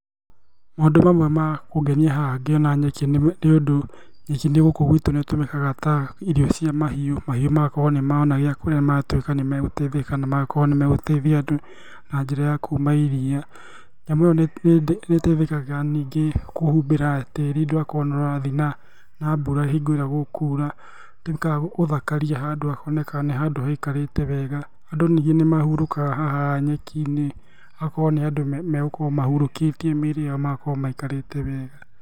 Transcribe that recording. Maũndũ mamwe ma kũngenia haha ngĩona nyeki nĩũndũ nyeki gũkũ gwitũ nĩĩtũmĩka ta irio cia mahiũ, mahiũ magakorwo nĩmarona gĩa kũrĩa magatuĩka nĩmegũteithĩka, na magakorwo nĩmegũteithia andũ na njĩra ya kuuma iria. Nyamu iyo nĩĩteithĩkaga ningĩ kũhumbĩra tĩri ndũgakorwo wa nĩũrathiĩ na na mbura hingo ĩrĩa gũkuura. Twĩkaga gũthakaria handũ hakonekaga nĩ handũ haikarĩte wega. Andũ ningĩ nimahurũkaga haha nyeki-inĩ hagakorwo nĩ handũ megũkorwo mahurũkĩtie mĩĩrĩ ĩyo magakorwo maikarĩte wega.